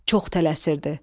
Çox tələsirdi.